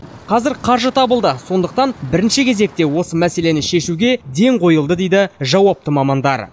қазір қаржы табылды сондықтан бірінші кезекте осы мәселені шешуге ден қойылды дейді жауапты мамандар